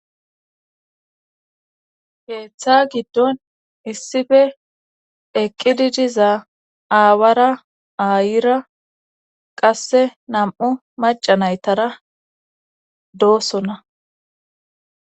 keeththa giddon issife eqqidi diza aawara aayira qasse nam7u macanaytara doosona.